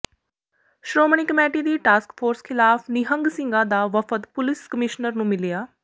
Shiromani committee ਦੀ task force ਖਿਲ਼ਾਫ ਨਿਹੰਗ ਸਿੰਘਾਂ ਦਾ ਵਫਦ ਪੁਲਿਸ ਕਮਿਸ਼ਨਰ ਨੂੰ ਮਿਲਿਆ